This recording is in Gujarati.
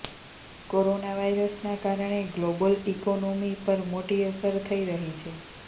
કોરોના વાયરસના કારણે ગ્લોબલ ઈકોનોમી પર મોટી અસર થઈ રહી છે